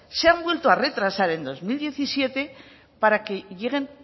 se han vuelto a retrasar en dos mil diecisiete para que lleguen